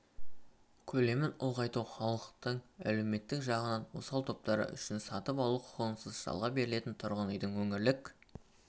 көлемін ұлғайту халықтың әлеуметтік жағынан осал топтары үшінсатып алу құқығынсыз жалға берілетін тұрғын үйдің өңірлік